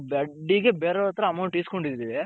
ಬಡ್ಡಿಗೆ ಬೇರೆಅವರತ್ರ amount ಇಸ್ಕೊಂಡಿದಿವಿ .